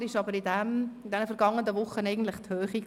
Herausragender war in den vergangenen Wochen aber die Höhe.